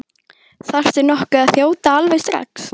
Þarftu nokkuð að þjóta alveg strax?